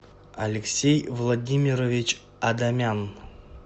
алексей владимирович адамян